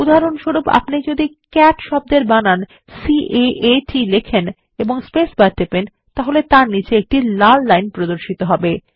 উদাহরণস্বরূপ আপনি যদি ক্যাট শব্দের বানান C A A T লেখেন এবং স্পেসবার টেপেন তাহলে তার নিচে একটি লাল লাইন প্রদর্শিত হবে